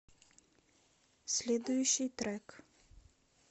следующий трек